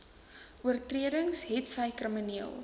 oortredings hetsy krimineel